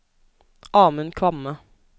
Amund Kvamme